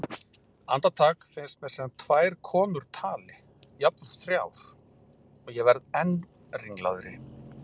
Andartak finnst mér sem tvær konur tali, jafnvel þrjár, og verð enn ringlaðri.